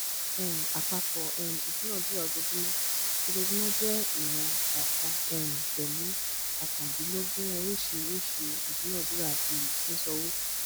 um àpapọ um ìdúnádúrà ojoojúmọ ojoojúmọ jẹ ìwọn kọọkan um pẹlú óókàndínlógún oríṣiríṣi ìdúnádúràbi ṣiṣànwo